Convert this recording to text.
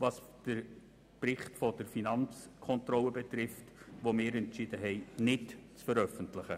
dass wir entschieden haben, den Bericht der Finanzkontrolle nicht zu veröffentlichen.